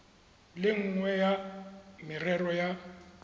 le nngwe ya merero ya